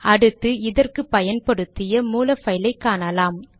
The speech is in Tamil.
அடுத்து இதற்கு பயன்படுத்திய மூல பைலை காணலாம்